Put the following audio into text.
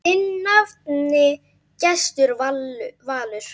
Þinn nafni, Gestur Valur.